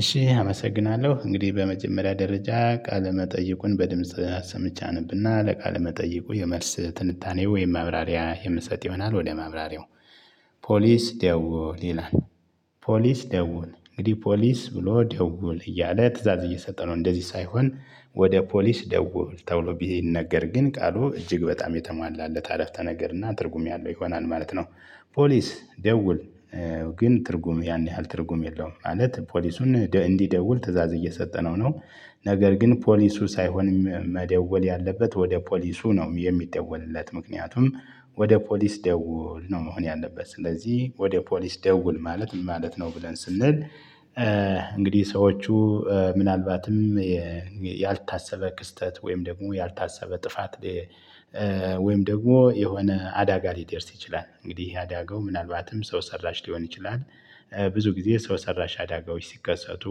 እሺ አመሰግናለሁ እንግዲህ በመጀመሪያ ደረጃ ቃለ መጠይቁን በድምጽ ሰምቼ አነብና ለቃለ መጠይቁ የመልስ ትንታኔ ወይም ማብራሪያ የምሰጥ ይሆናል ወደ መብራርያው። ፖሊስ ደዉል ይላል። ፖሊስ ደውል እንግዲህ ፖሊስ ብሎ ደውል እያለ ትእዛዝ እየሰጠ ነው። እንደዚህ ሳይሆን ወደ ፖሊስ ደውል ተብሎ ቢነገር ግን ቃሉ እጅግ በጣም የተሟላለት አረፍተ ነገር እና ትርጉም ያለው ይሆናል ማለት ነው። ፖሊስ ደውል ግን ትርጉም ያን ያህል ትርጉም የለውም ማለት ፖሊሱን እንዲደውል ትእዛዝ እየሰጠነው ነው። ነገር ግን ፖሊሱ ሳይሆን መደወል ያለበት ወደ ፖሊሱ ነው የሚደወልለት ምክንያቱም። ወደ ፖሊስ ደውል ነው መሆን ያለበት ስለዚህ ወደ ፖሊስ ደውል ማለት ምን ማለት ነው ብለን ስንል? እንግዲህ ሰዎቹ ምናልባትም ያልታሰበ ክስተት ወይም ደግሞ ያልታሰበ ጥፋት። ወይም ደግሞ የሆነ አደጋ ሊደርስ ይችላል እንግዲህ አደጋው ምናልባትም ሰው ሰራሽ ሊሆን ይችላል። ብዙ ጊዜ ሰው ሰራሽ አደጋዎች ሲከሰቱ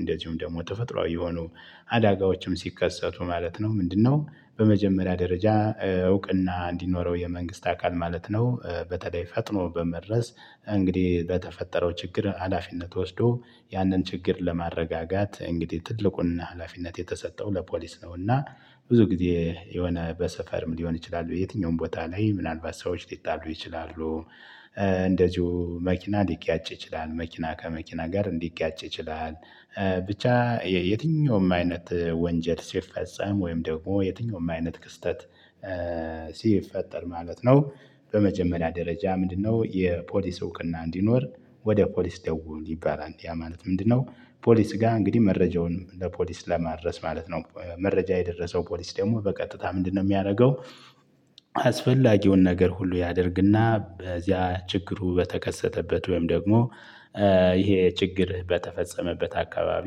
እንደዚሁም ደግሞ ተፈጥሮአዊ የሆኑ አደጋዎችም ሲከሰቱ ማለት ነው። ምንድነው? በመጀመሪያ ደረጃ እውቅና እንዲኖረው የመንግስት አካል ማለት ነው። በተለይ ፈጥኖ በመድረስ እንግዲህ በተፈጠረው ችግር ሀላፊነት ወስዶ ያንን ችግር ለማረጋጋት እንግዲህ ትልቁንና ሀላፊነት የተሰጠው ለፖሊስ ነውና። ብዙ ጊዜ የሆነ በስካርም ሊሆን ይችላሉ የትኛውም ቦታ ላይ ምናልባት ሰዎች ሊጣሉ ይችላሉ። እንደዚሁ መኪና ሊጋጭ ይችላል መኪና ከመኪና ጋርም ሊጋጭ ይችላል። ብቻ የትኛውም አይነት ወንጀል ሲፈጸም ወይም ደግሞ የትኛውም አይነት ክስተት ሲፈጠር ማለት ነው። በመጀመሪያ ደረጃ ምንድነው? የፖሊስ እውቅና እንዲኖር ወደ ፖሊስ ደውል ይባላል ያ ማለት ምንድነው? ፖሊስ ጋር እንግዲህ መረጃውን ለፖሊስ ለማድረስ ማለት ነው። መረጃ የደረሰው ፖሊስ ደግሞ በቀጥታ ምንድነው የሚያደርገው? አስፈላጊውን ነገር ሁሉ ያደርግና በዚያ ችግሩ በተከሰተበት ወይም ደግሞ ይሄ ችግር በተፈጸመበት አካባቢ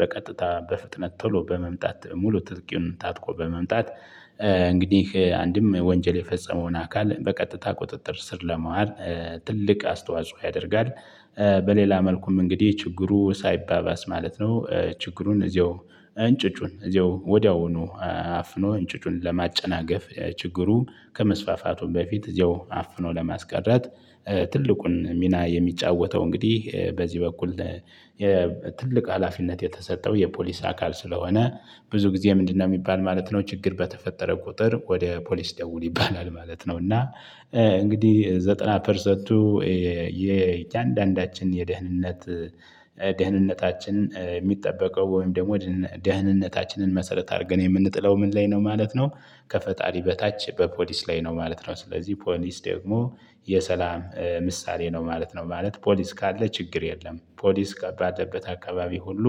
በቀጥታ በፍጥነት ቶሎ በመምጣት ሙሉ ትጥቁን ታጥቆ በመምጣት። እንግዲህ አንድም ወንጀል የፈጸመውን አካል በቀጥታ ቁጥጥር ስር ለማዋል ትልቅ አስተዋጽኦ ያደርጋል። በሌላ መልኩም እንግዲህ ችግሩ ሳይባባስ ማለት ነው። ችግሩን እዚያው እንጭጩን እዚያው ወዲያውኑ አፍኖ እንጭጩን ለማጨናገፍ ችግሩ ከመስፋፋቱ በፊት እዚያው አፍኖ ለማስቀረት። ትልቁን ሚና የሚጫወተው እንግዲህ በዚህ በኩል። ትልቅ ሀላፊነት የተሰጠው የፖሊስ አካል ስለሆነ። ብዙ ጊዜ ምንድነው? የሚባል ማለት ነው ችግር በተፈጠረ ቁጥር ወደ ፖሊስ ደውል ይባላል ማለት ነው እና። እንግዲህ ዘጠና ፐርሰንቱ የእያንዳንዳችን የደህንነት ደህንነታችን የሚጠበቀው ወይም ደግሞ ደህንነታችንን መሰረት አድርገን የምንጥለው ምን ላይ ነው ማለት ነው? ከፈጣሪ በታች በፖሊስ ላይ ነው ማለት ነው። ስለዚህ ፖሊስ ደግሞ የሰላም ምሳሌ ነው ማለት ነው ማለት ፖሊስ ካለ ችግር የለም ፖሊስ ከባተበት አካባቢ ሁሉ።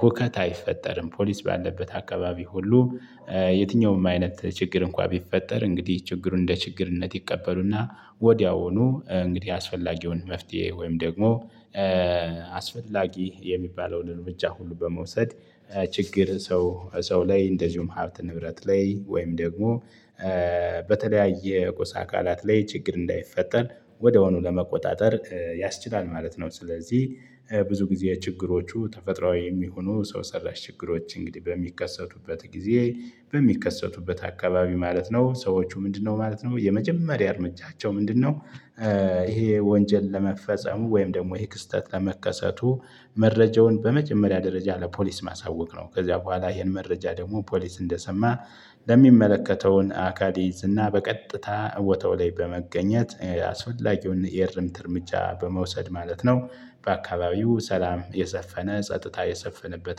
ሁከት አይፈጠርም ፖሊስ ባለበት አካባቢ ሁሉ። የትኛውም አይነት ችግር እንኳን ቢፈጠር እንግዲህ ችግሩን እንደ ችግርነት ይቀበሉና ወዲያውኑ እንግዲህ አስፈላጊውን መፍትሄ ወይም ደግሞ አስፈላጊ የሚባለውን እርምጃ ሁሉ በመውሰድ። ችግር ሰው ሰው ላይ እንደዚሁም ሀብት ንብረት ላይ ወይም ደግሞ በተለያየ ቁስ አካላት ላይ ችግር እንዳይፈጠር ወድያውኑ ለመቆጣጠር። ያስችላል ማለት ነው። ስለዚህ ብዙ ጊዜ ችግሮቹ ተፈጥሮአዊ የሚሆኑ ሰው ሰራሽ ችግሮች እንግዲህ በሚከሰቱበት ጊዜ። በሚከሰቱበት አካባቢ ማለት ነው። ሰዎቹ ምንድነው ማለት ነው የመጀመሪያ እርምጃቸው ምንድነው? ይሄ ወንጀል ለመፈጸሙ ወይም ደግሞ ይሄ ክስተት ለመከሰቱ መረጃውን በመጀመሪያ ደረጃ ለፖሊስ ማሳወቅ ነው ከዚያ በኋላ ይሄን መረጃ ደግሞ ፖሊስ እንደሰማ ለሚመለከተውን አካል ይይዝና እና በቀጥታ ቦታው ላይ በመገኘት አስፈላጊውን የእርምት እርምጃ በመውሰድ ማለት ነው። በአካባቢው ሰላም የሰፈነ ጸጥታ የሰፈነበት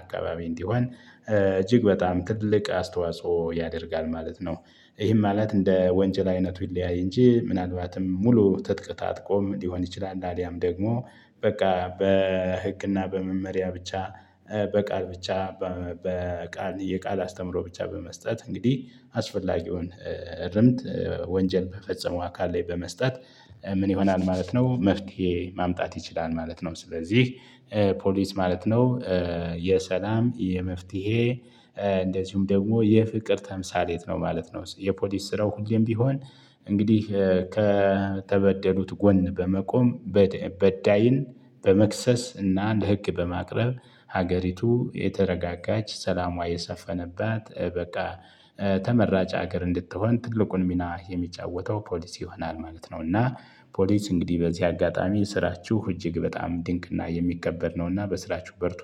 አካባቢ እንዲሆን እጅግ በጣም ትልቅ አስተዋጽኦ ያደርጋል ማለት ነው። ይሄም ማለት እንደ ወንጀል አይነቱ ይለያይ እንጂ ምናልባትም ሙሉ ትጥቅ ታጥቆ ሊሆን ይችላል። አልያም ደግሞ በቃ በህግና በመመሪያ ብቻ። በቃል ብቻ በቃል የቃል አስተምሮ ብቻ በመስጠት እንግዲህ አስፈላጊውን እርምት ወንጀል በፈጸመው አካል ላይ በመስጠት። ምን ይሆናል ማለት ነው? መፍትሄ ማምጣት ይችላል ማለት ነው። ስለዚህ ፖሊስ ማለት ነው። የሰላም የመፍትሄ እንደዚሁም ደግሞ የፍቅር ተምሳሌት ነው ማለት ነው። የፖሊስ ስራው ሁሌም ቢሆን እንግዲህ ከተበደሉት ጎን በመቆም በዳይን በመክሰስ እና እንደ ህግ በማቅረብ። ሀገሪቱ የተረጋጋች ሰላሟ የሰፈነባት በቃ ተመራጭ ሀገር እንድትሆን ትልቁን ሚና የሚጫወተው ፖሊስ ይሆናል ማለት ነው። እና ፖሊስ እንግዲህ በዚህ አጋጣሚ ስራችሁ እጅግ በጣም ድንቅና የሚከበር ነውና በስራችሁ በርቱ